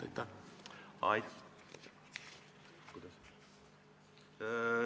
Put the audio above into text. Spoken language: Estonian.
Aitäh!